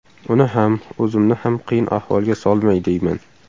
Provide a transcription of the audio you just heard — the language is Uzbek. Uni ham, o‘zimni ham qiyin ahvolga solmay deyman.